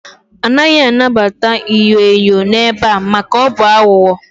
A naghị anabata inyo enyo n'ebe a maka na ọ bụ aghụghọ